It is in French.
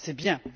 C'est bien.